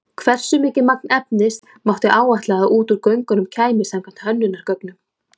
Hversu mikið magn efnis mátti áætla að út úr göngunum kæmi samkvæmt hönnunargögnum?